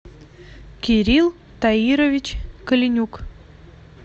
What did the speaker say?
кирилл таирович коленюк